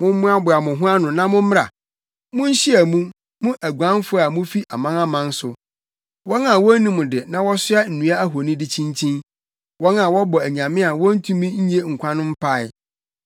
“Mommoaboa mo ho ano na mommra; munhyia mu, mo aguanfo a mufi amanaman so. Wɔn a wonnim de na wɔsoa nnua ahoni de kyinkyin wɔn a wɔbɔ anyame a wontumi nnye nkwa no mpae.